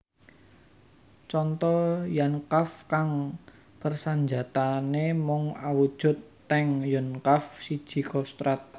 Conto Yonkav kang persenjataané mung awujud tank Yonkav siji Kostrad